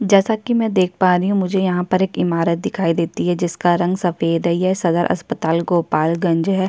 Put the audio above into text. जैसा की मै यहाँ देख पा रही हूँ मुझे यहाँ पर एक इमारत दिखाई देती हैं जिसका रंग सफेद हैं यह सदर अस्पताल गोपालगंज हैं।